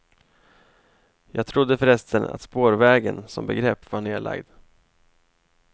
Jag trodde förresten att spårvägen som begrepp var nerlagd.